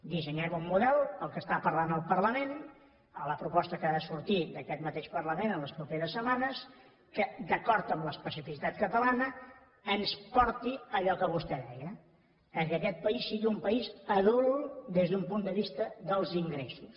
dissenyem un model el que està parlant el parlament la proposta que ha de sortir d’aquest mateix parlament en les properes setmanes que d’acord amb l’especificitat catalana ens porti a allò que vostè deia que aquest país sigui un país adult des d’un punt de vista dels ingressos